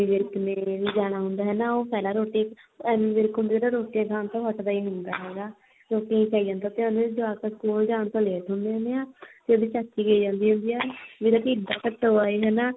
ਵਿਰਕ ਨੇ ਵੀ ਜਾਣਾ ਹੁੰਦਾ ਉਹ ਪਹਿਲਾਂ ਰੋਟੀ ਐਮੀ ਵਿਰਕ ਨਾ ਰੋਟੀਆਂ ਖਾਣ ਤੋਂ ਹੱਟਦਾ ਹੀ ਨਹੀਂ ਹੁੰਦਾ ਹੈਗਾ ਹਨਾ ਰੋਟੀਆਂ ਖਾਈ ਜਾਂਦਾ ਹੁੰਦਾ ਜਵਾਕ ਸਕੂਲ ਜਾਣ ਤੋਂ ਲੇਟ ਹੁੰਦੇ ਆ ਤੇ ਉਹਦੀ ਚਾਚੀ ਕਹੀ ਜਾਂਦੀ ਹੁੰਦੀ ਆ ਕੀ ਉਹਦਾ ਢਿਡ ਆ ਕੇ ਟੋਆ ਹਨਾ